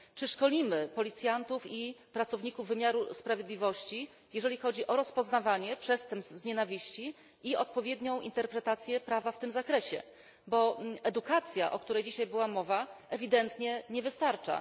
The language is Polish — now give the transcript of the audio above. Czy szkolimy policjantów i pracowników wymiaru sprawiedliwości jeżeli chodzi o rozpoznawanie przestępstw motywowanych nienawiścią i odpowiednią interpretację prawa w tym zakresie, bo edukacja, o której dzisiaj była mowa, ewidentnie nie wystarcza?